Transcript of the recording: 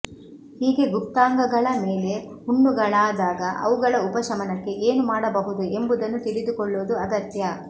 ಹೀಗೆ ಗುಪ್ತಾಂಗಗಳ ಮೇಲೆ ಹುಣ್ಣುಗಳಾದಾಗ ಅವುಗಳ ಉಪಶಮನಕ್ಕೆ ಏನು ಮಾಡಬಹುದು ಎಂಬುದನ್ನು ತಿಳಿದುಕೊಳ್ಳುವುದು ಅಗತ್ಯ